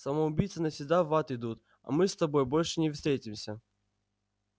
самоубийцы навсегда в ад идут мы с тобой больше не встретимся